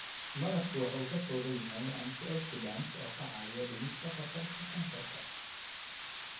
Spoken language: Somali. Malabku waxa uu ka kooban yahay Antioxidants oo ka caawiya dhimista khatarta kansarka.